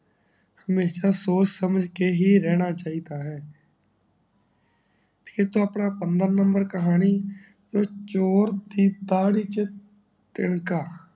ਹਮੇਸ਼ਾ ਸੋਚ ਸਮਝ ਕੇ ਹੀ ਰਹਿਣਾ ਚਾਹੀਦਾ ਹੈ ਠੀਕ ਹੈ ਆਪਣਾ ਪੰਦਰਾਂ ਨੰਬਰ ਕਹਾਣੀ ਚੋਰ ਦੀ ਦਾਦੀ ਛ ਤਿਨਕਾ